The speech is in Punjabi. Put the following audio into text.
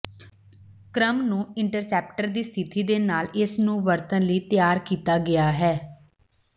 ਕ੍ਰਮ ਨੂੰ ਇੰਟਰਸੈਪਟਰ ਦੀ ਸਥਿਤੀ ਦੇ ਨਾਲ ਇਸ ਨੂੰ ਵਰਤਣ ਲਈ ਤਿਆਰ ਕੀਤਾ ਗਿਆ ਹੈ